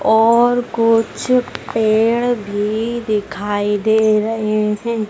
और कुछ पेड़ भी दिखाई दे रहे हैं।